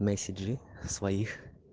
меседжы своих